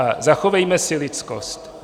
A zachovejme si lidskost.